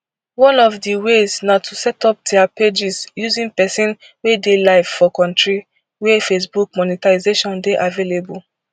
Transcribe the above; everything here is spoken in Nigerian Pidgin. one of di ways na to setup dia pages using pesin wey dey live for kontri wia facebook monetisation dey available